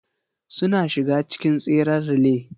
Suna shiga cikin tseren relay.